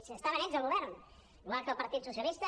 si estaven ells al go·vern igual que el partit socialista